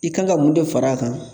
I kan ka mun de far'a kan